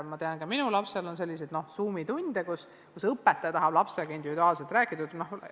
Ma tean, et ka minu lapsel on olnud selliseid Zoomi tunde, kus õpetaja tahab lapsega individuaalselt rääkida.